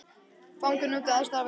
Fangar nutu aðstoðar við gerð ganga